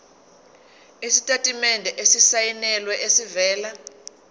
isitatimende esisayinelwe esivela